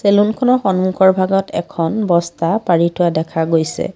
Salon খনৰ সন্মুখৰ ভাগত এখন বস্তা পাৰি থোৱা দেখা গৈছে।